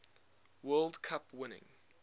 world cup winning